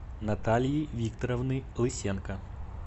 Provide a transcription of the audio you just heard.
натальи викторовны лысенко